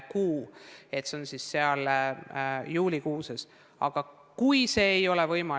Kui see pole võimalik, siis me tegeleme sellega ülikoolide ja muude kõrgkoolide kaupa, otsustades, mida sel juhul teha, kuidas edasi toimetada.